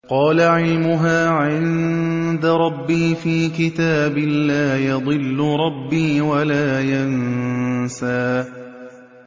قَالَ عِلْمُهَا عِندَ رَبِّي فِي كِتَابٍ ۖ لَّا يَضِلُّ رَبِّي وَلَا يَنسَى